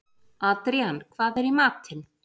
Adrían, hvað er í matinn?